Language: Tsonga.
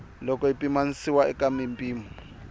loko yi pimanisiwa eka mimpimo